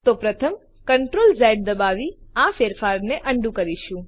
તો પ્રથમ Ctrl Z દબાવી આ ફેરફારને અન્ડું કરીશું